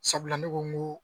Sabula ne ko n ko